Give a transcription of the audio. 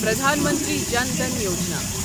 Pradhan Mantri Jan Dhan Yojana